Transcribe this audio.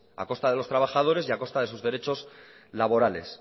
a costa de los trabajadores y a costa de sus derechos laborales